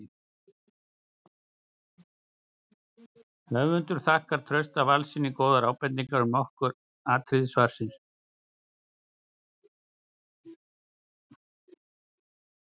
Höfundur þakkar Trausta Valssyni góðar ábendingar um nokkur atriði svarsins.